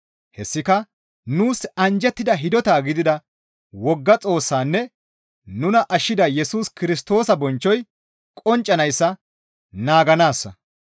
Hessika nuus anjjettida hidota gidida wogga Xoossaanne nuna ashshida Yesus Kirstoosa bonchchoy qonccanayssa naaganaassa.